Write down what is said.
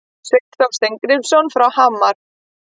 Sveinn Þór Steingrímsson frá Hamar